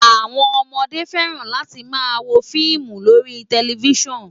Àwọn ọmọdé fẹ́ràn láti máa wo fíìmù lórí tẹlifísàn